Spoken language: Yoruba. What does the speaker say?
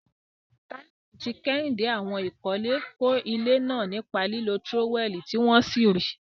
Taiwo àti Kehinde, àwọn olùkọ́lé, kọ́ ilé náà nípa lílo tírówẹ́ẹ̀lì tí wọ́n sì rí i.